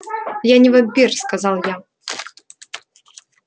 я не вампир сказал я